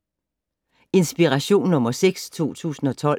Inspiration nr. 6 2012